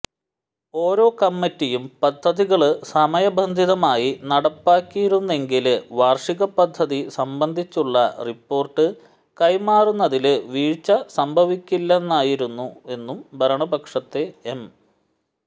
ഓരോ കമ്മിറ്റിയും പദ്ധതികള് സമയബന്ധിതമായി നടപ്പാക്കിയിരുന്നെങ്കില് വാര്ഷിക പദ്ധതി സംബന്ധിച്ചുള്ള റിപ്പോര്ട്ട് കൈമാറുന്നതില് വീഴ്ച സംഭവിക്കില്ലായിരുന്നുവെന്നും ഭരണപക്ഷത്തെ എം